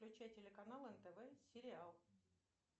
включай телеканал нтв сериал